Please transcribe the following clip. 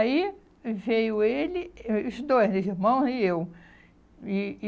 Aí, veio ele, os dois, meu irmão e eu. E e